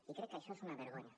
i crec que això és una vergonya